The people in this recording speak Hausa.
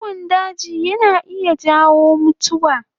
Ciwon daji yana iya jawo mutuwa